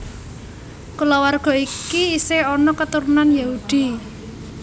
Kulawarga iki isih ana katurun Yahudi